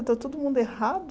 Está todo mundo errado?